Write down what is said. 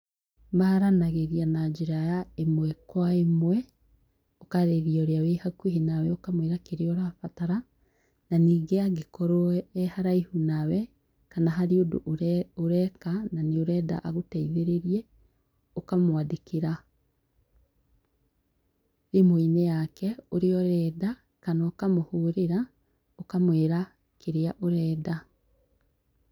Maaranagĩria na njĩra ya ĩmwe kwa ĩmwe. Ũkaarĩria ũrĩa wĩ hakuhĩ nawe ũkamwĩra kĩrĩa ũrabatara. Na ningĩ angĩkorwo e haraihu nawe, kana harĩ ũndũ ũreka na nĩ ũrenda agũteithĩrĩie, ũkamwandĩkĩra thimũ-inĩ yake ũrĩa ũrenda, kana ũkamũhũrĩra, ũkamwĩra kĩrĩa ũrenda.